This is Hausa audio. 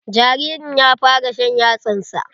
Jaririn ya fara shan yatsan sa.